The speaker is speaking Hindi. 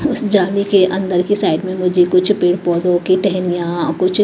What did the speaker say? उस जाली के अंदर की साइड में मुझे कुछ पेड़ पौधों की टहनियां कुछ--